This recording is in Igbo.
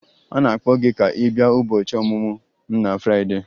A na-akpọ gị ka ị bịa ụbọchị ọmụmụ m na Fraịdee.